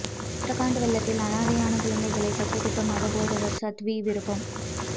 உத்தரகாண்ட் வெள்ளத்தால் அனாதையான குழந்தைகளை தத்தெடுக்க மத போதகர் சாத்வி விருப்பம்